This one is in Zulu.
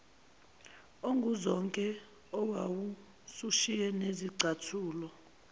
onguzonke owawusushiye nezicathulo